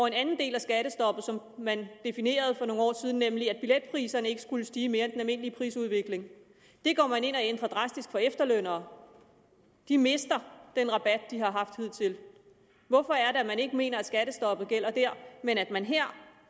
en anden del af skattestoppet som man definerede for nogle år siden nemlig at billetpriserne ikke skulle stige mere end almindelige prisudvikling det går man ind og ændrer drastisk for efterlønnere de mister den rabat de har haft hidtil hvorfor er det at man ikke mener at skattestoppet gælder der men at man her